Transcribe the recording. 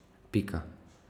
Pika.